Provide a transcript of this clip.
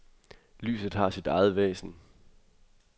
Lyset har sit eget væsen.